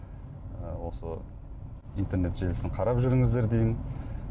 ы осы интернет желісін қарап жүріңіздер деймін